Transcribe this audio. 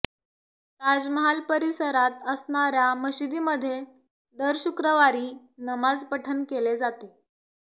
ताजमहाल परीसरात असणाऱ्या मशिदीमध्ये दर शुक्रवारी नमाज पठण केले जाते